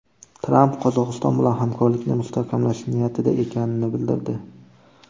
Tramp Qozog‘iston bilan hamkorlikni mustahkamlash niyatida ekanini bildirdi.